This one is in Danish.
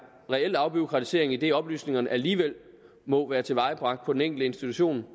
reel afbureaukratisering idet oplysningerne alligevel må være tilvejebragt på den enkelte institution